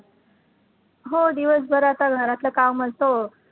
हो, दिवसभर आता घरातलं काम असतं